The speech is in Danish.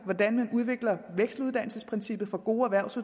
hvordan man udvikler vekseluddannelsesprincippet for gode